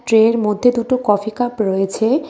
ট্রের মধ্যে দুটো coffee cup রয়েছে .]